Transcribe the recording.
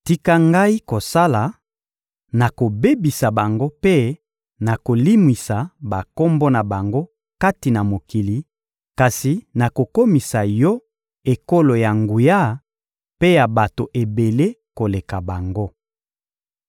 Tika Ngai kosala: nakobebisa bango mpe nakolimwisa bakombo na bango kati na mokili, kasi nakokomisa yo ekolo ya nguya mpe ya bato ebele koleka bango.»